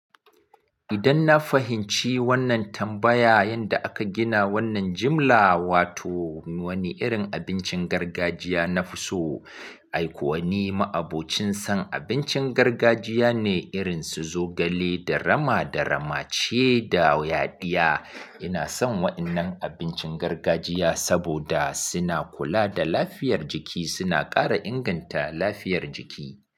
Idan na fahimci wannan tambaya, yanda aka gina wannan jimla, wato wani irin abincin gargajiya na fi so. Ai kuwa ni ma'abocin san abincin gargajiya ne irin su zogale, da rama, da ramace, da yaɗiya. Ina son waɗannan abincin gargajiya saboda suna kula da lafiyar jiki, suna ƙara inganta lafiyar jiki.